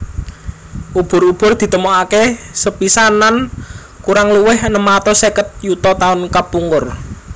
Ubur ubur ditemokaké sepisanan kurang luwih enem atus seket yuta taun kapungkur